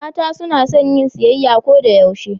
mata sunason yin siyayya Koda yaushe